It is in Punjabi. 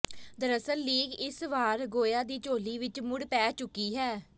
ਦਰਅਸਲ ਲੀਗ ਇਸ ਵਾਰ ਗੋਆ ਦੀ ਝੋਲੀ ਵਿਚ ਮੁੜ ਪੈ ਚੁੱਕੀ ਹੈ